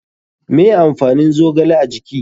Me amfanin zogale a jiki?